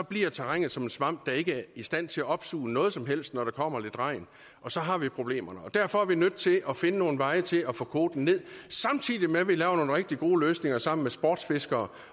bliver terrænet som en svamp der ikke er i stand til at opsuge noget som helst når der kommer lidt regn og så har vi problemerne derfor er vi nødt til at finde nogle veje til at få kvoten ned samtidig med at vi laver nogle rigtig gode løsninger sammen med sportsfiskere